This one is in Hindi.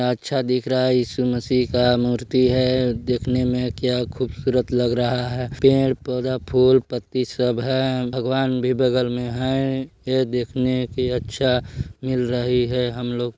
अच्छा दिख रहा है ईशू मसीह का मूर्ति है देखने में क्या खूबसूरत लग रहा है पेड-़ पौधा फूल- पत्ती सब है भगवान भी बगल में है यह देखने के अच्छा मिल रही है हम लोग--